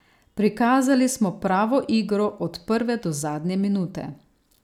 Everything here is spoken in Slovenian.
Prikazali smo pravo igro od prve do zadnje minute.